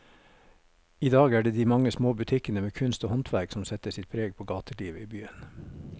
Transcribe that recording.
I dag er det de mange små butikkene med kunst og håndverk som setter sitt preg på gatelivet i byen.